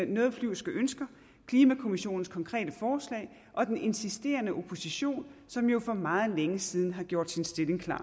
noget flyvske ønsker klimakommissionens konkrete forslag og den insisterende opposition som jo for meget længe siden har gjort sin stilling klar